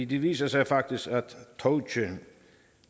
det viser sig faktisk